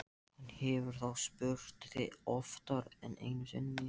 Hann hefur þá spurt þig oftar en einu sinni?